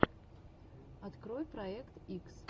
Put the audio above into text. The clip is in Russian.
открой проект икс